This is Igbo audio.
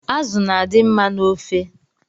Azụ na-adị mma n’ofe